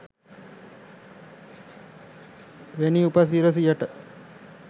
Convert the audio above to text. වෙනි උප සිරසියට